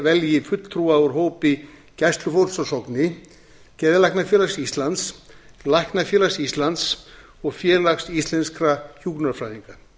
velji fulltrúa úr hópi gæslufólks á sogni geðlæknafélags íslands læknafélags íslands og félags íslenskra hjúkrunarfræðinga